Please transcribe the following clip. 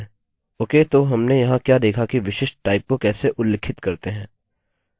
okay तो हमने यहाँ क्या देखा कि विशिष्ट टाइप को कैसे उल्लिखित करते हैं